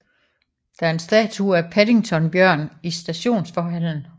Der er en statue af Paddington Bjørn i stationsforhallen